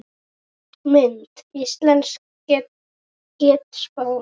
Mynd: Íslensk getspá